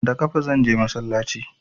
Da ƙafa zanje masallaci